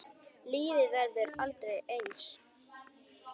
Lífið verður aldrei eins.